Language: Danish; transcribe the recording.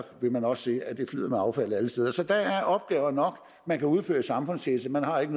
man også se at det flyder med affald alle steder så der er opgaver nok man kan udføre som samfundstjeneste man har ikke